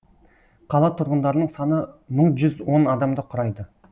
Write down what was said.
қала тұрғындарының саны мың жүз он адамды құрайды